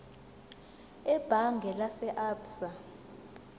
ebhange lase absa